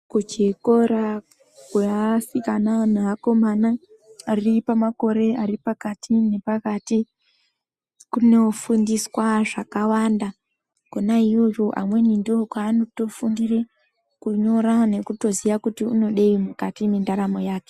Kuchikora kweasikana neakomana, ari pamakore ari pakati nepakati , kunofundiswa zvakawanda. Kona iyoyo amweni ndokwaanotofundire kunyorwa nekutoziya kuti unodei mukati mwendaramo yake.